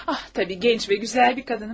Ah, əlbəttə gənc və gözəl bir qadınam.